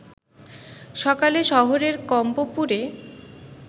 সকালে শহরের কম্পপুরে